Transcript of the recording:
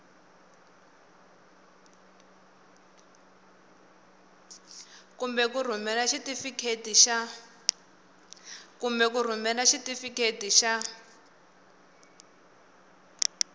kumbe ku rhumela xitifiketi xa